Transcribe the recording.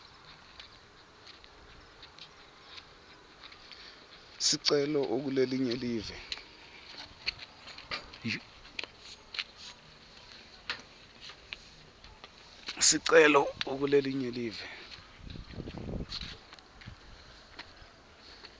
sicelo ukulelinye live